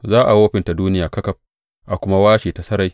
Za a wofinta duniya ƙaƙaf a kuma washe ta sarai.